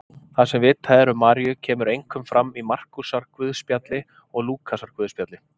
Það sem vitað er um Maríu kemur einkum fram í Markúsarguðspjalli og Lúkasarguðspjalli.